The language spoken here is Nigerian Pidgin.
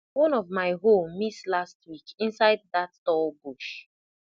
one of my hoe miss last week inside that tall bush